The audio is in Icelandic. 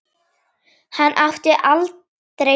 Hann átti aldrei séns.